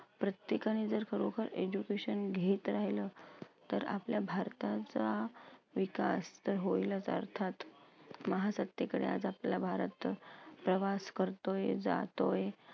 प्रत्येकाने जर खरोखर education घेत राहिलं, तर आपल्या भारताचा विकास तर होईलच अर्थात. महासत्तेकडे आज आपला भारत प्रवास करतोय, जातोय,